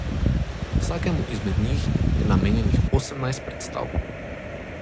Vsakemu izmed njih je namenjenih osemnajst predstav.